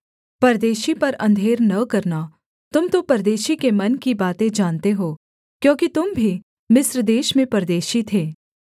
परदेशी पर अंधेर न करना तुम तो परदेशी के मन की बातें जानते हो क्योंकि तुम भी मिस्र देश में परदेशी थे